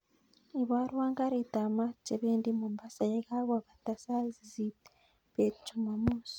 Iborun karit ap maat che pendi mombasa yekakopata sait sisit bet jumamos